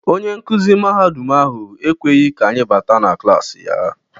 Onye nkuzi mahadum ahụ ekweghị ka anyị báátà na klasi ya.